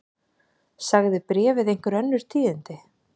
Sagði bréfið einhver önnur tíðindi?